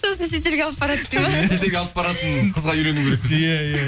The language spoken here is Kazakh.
сосын шетелге алып барады дейді ме шетелге алып баратын қызға үйлену керек иә иә